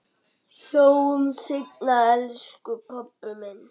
Sjáumst seinna elsku pabbi minn.